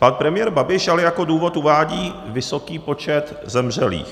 Pan premiér Babiš ale jako důvod uvádí vysoký počet zemřelých.